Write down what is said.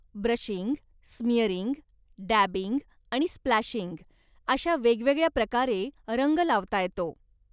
Brushing, smearing, dabbing आणि splashing, अशा वेगवेगळ्या प्रकारे रंग लावता येतो.